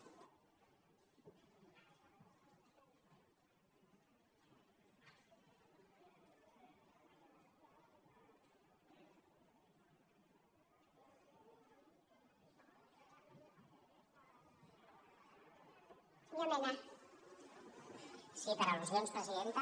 sí per al·lusions presidenta